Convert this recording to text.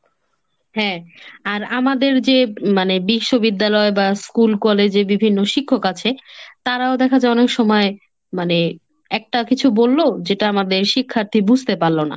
হ্যাঁ আর আমাদের যে মানে বিশ্ববিদ্যালয় বা school college এ বিভিন্ন শিক্ষক আছে তারাও দেখা অনেক সময় মানে একটা কিছু বললো যেটা আমাদের শিক্ষার্থী বুঝতে পারলো না।